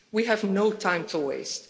We have no time to waste.